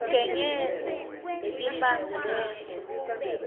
ugengedze letimphandze bese